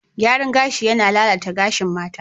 Gyaran gashi yana lalata gashin mata.